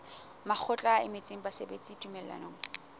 mokgatlo o emetseng basebeletsi tumellanong